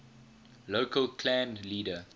local clan leader